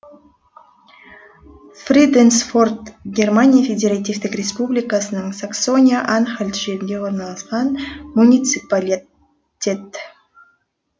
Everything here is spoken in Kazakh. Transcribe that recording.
фриденсдорф германия федеративтік республикасының саксония анхальт жерінде орналасқан муниципалит тет